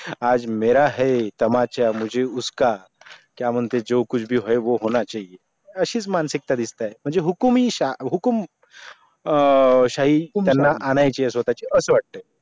आज मेरा है तुमचा मुझे उस्का क्या मानते जो कुछ भी होये वो होना चाहिए असीस मानसिकता दिसतेय मंजे हुकुमी सा हुकूम अं तिनयना आणायची असा वाटे